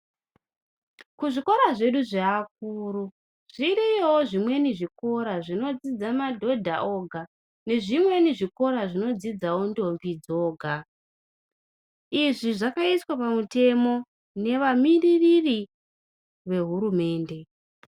kuzvikora zvedu zveakuru zviriyowo zvimweni zvikora zvinodzidza madhodha oga nezvimweni zvikora zvinodzidza ndombi dzoga izvi zvakaiswa pamutemo nevamiririri vehurumende .